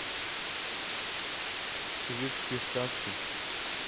советские сказки